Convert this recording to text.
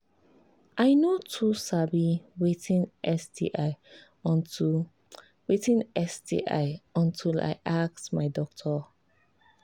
i no too sabi watin sti until watin sti until i ask my doctor